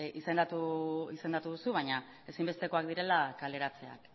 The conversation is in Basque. izendatu duzu baina ezinbestekoak direla kaleratzeak